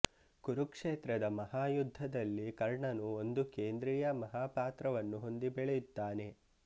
ಕುರುಕ್ಷೇತ್ರ ದ ಮಹಾಯುದ್ಧದಲ್ಲಿ ಕರ್ಣನು ಒಂದು ಕೇಂದ್ರೀಯ ಮಹಾಪಾತ್ರವನ್ನು ಹೊಂದಿ ಬೆಳೆಯುತ್ತಾನೆ